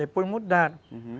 Depois mudaram, uhum.